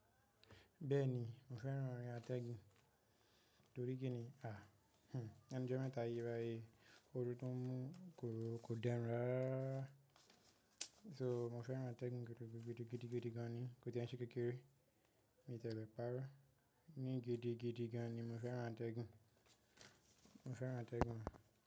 Bẹ́ẹ̀ni, mo fẹ́ran orin atẹ́gun. Torí kí ni? À, uh, lẹnu ijo mẹ́ta yìí bayii. Òru tó ń mú kò, kò de run rara rara So, mo fẹ́ran atẹ́gun gidi gidi gidi, gidi gan ni. Kò ti e n ṣe kékeré, mi ò ti ẹ̀ lẹ̀ párọ̀ e. Ní gidi, gidi gan ni mo fẹ́ran atẹ́gun. Mo fẹ́ran atẹ́gun.